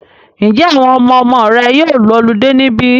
Ǹjẹ́ àwọn ọmọmọ rẹ yóò lọludé níbí?